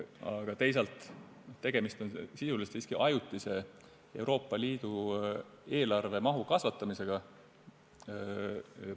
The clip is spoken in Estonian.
Aga teisalt on tegemist sisuliselt siiski ajutise Euroopa Liidu eelarve mahu kasvatamisega.